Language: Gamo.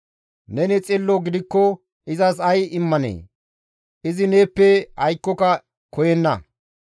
Neni xillo gidikko izas ay immanee? Izi neeppe aykkoka koyenna.